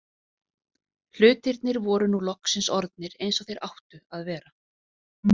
Hlutirnir voru nú loksins orðnir eins og þeir áttu að vera.